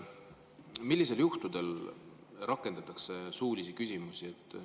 Millistel juhtudel rakendatakse suulisi küsimusi?